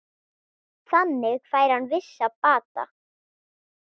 Þannig fær hann vissan bata.